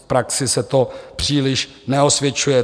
V praxi se to příliš neosvědčuje.